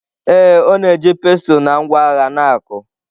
Ee, ọ na-eji pestle na ngwa agha na-akụ.